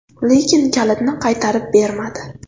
Lekin kalitni qaytarib bermadi.